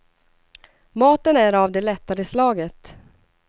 Maten är av det lättare slaget.